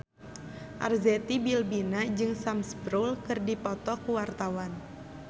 Arzetti Bilbina jeung Sam Spruell keur dipoto ku wartawan